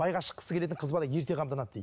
байға шыққысы келетін қыз бала ерте қамданады дейді